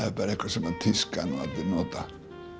er bara eitthvað sem tískan og allir nota